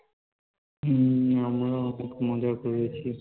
হম আমরাও খুব মজা করেছি